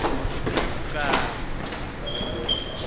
kwempukane